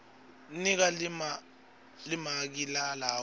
nika limaki lalawo